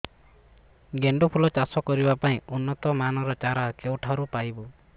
ଗେଣ୍ଡୁ ଫୁଲ ଚାଷ କରିବା ପାଇଁ ଉନ୍ନତ ମାନର ଚାରା କେଉଁଠାରୁ ପାଇବୁ